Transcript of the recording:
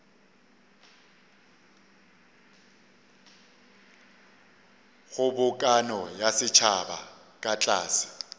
kgobokano ya setšhaba ka tlase